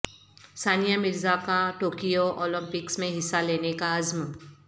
ثانیہ مرزا کا Tokyo Olympics میں حصہ لینے کا عزم